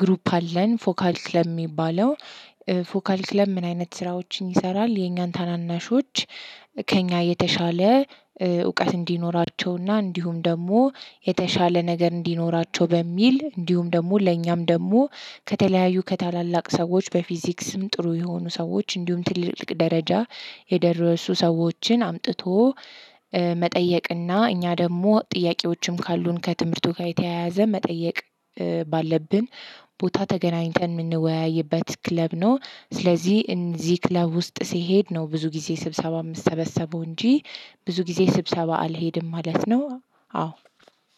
ግሩፕ አለን ፎካል ነው የሚባለው። ፎካል ክለብ ምን አይነት ስራዎችን ይሰራል? የኛን ታናናሾች ከእኛ የተሻለ እውቀት እንዲኖራቸውና እንዲሁም ደግሞ የተሻለ ነገር እንዲኖራቸው በሚል እንዲሁም ደግሞ ለእኛም ደግሞ ከተለያዩ ከታላላቅ ሰዎች በፊዚክስም ጥሩ የሆኑ ሰዎች እንዲሁም ትልልቅ ደረጃ የደረሱ ሰዎችን አምጥቶ መጠየቅና እኛ ደግሞ ጥያቄዎችም ካሉን ከትምህርቱ ጋር የተያያዘ መጠየቅ ባለብን ቦታ ተገናኝተን የምንወያይበት ክለብ ነው። ስለዚህ እንደዚህ ክለብ ውስጥ ሲሄድ ነው ብዙ ጊዜ ስብሰባ የምተበሰበው እንጂ ብዙ ጊዜ ስብሰባ አልሄድም ማለት ነው። አዎ